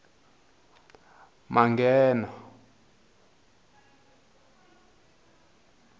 manghena